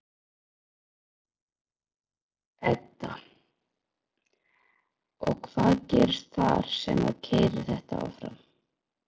Edda: Og hvað gerist þar sem að keyrir þetta áfram?